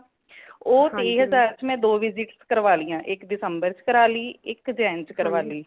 ਉਹ ਤੇਇਹਜਾਰ ਵਿਚ ਮੈਂ ਦੋ visit ਕਾਰਵਾਲੀਆਂ ਇਕ december ਚਹ ਕਰਵਾਲੀ ਇਕ Jan ਚਹ ਕਰਵਾਲੀ